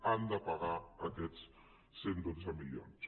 han de pagar aquests cent i dotze milions